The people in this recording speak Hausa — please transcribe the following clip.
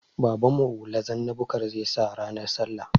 Babanmu hula zanna bukar zai sa ranar sallah